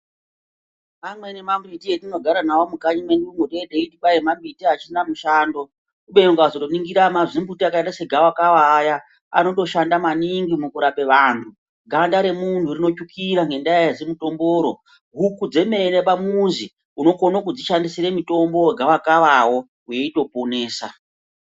Amweni mambiti atinogara nawo mumakanyi mwedumwo teiti mambiti asina mushando. Kubeni ukazoningira aah mazimbuti akaita segavakava ayaa anotoshanda maningi mukurapa vantu. Ganda remunhu rinotsvukira ngendaa rezimutombo ro. Huku dzemene pamuzi unokona kudzishandisira mutombo wegavakava wo weitoponesa.